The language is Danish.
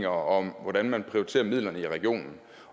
om hvordan man vil prioritere midlerne i regionen